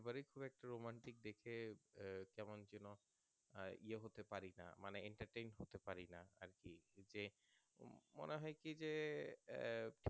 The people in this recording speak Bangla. একটু Romantic দেখে কেমন যেন ইয়ে হতে পারি না Entertainment করতে পারি না আরকি যে মনে হয় কি যে আহ